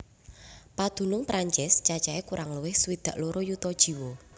Padunung Prancis cacahé kurang luwih swidak loro yuta jiwa